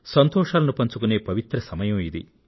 సంతోషాలను పంచుకొనే పవిత్ర సమయం ఇది